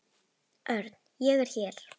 Örn, ég er hér